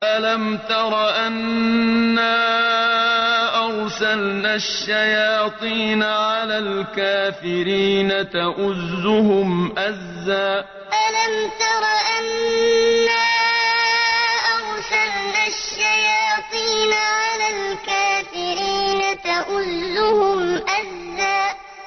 أَلَمْ تَرَ أَنَّا أَرْسَلْنَا الشَّيَاطِينَ عَلَى الْكَافِرِينَ تَؤُزُّهُمْ أَزًّا أَلَمْ تَرَ أَنَّا أَرْسَلْنَا الشَّيَاطِينَ عَلَى الْكَافِرِينَ تَؤُزُّهُمْ أَزًّا